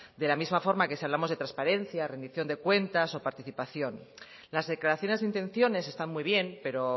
de la misma forma que si hablamos de transparencia rendición de cuentas o participación las declaraciones de intenciones están muy bien pero